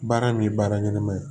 Baara min ye baara ɲɛnama ye